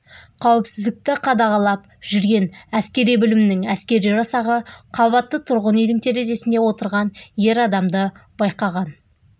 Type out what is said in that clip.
қауіпсіздікті қадағалап жүрген әскери бөлімінің әскери жасағы қабатты тұрғын үйдің терезесінде отырған ер адамды байқаған